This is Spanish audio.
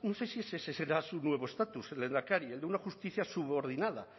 sé si ese será su nuevo estatus lehendakari el de una justicia subordinada